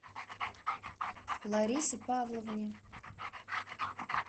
ларисе павловне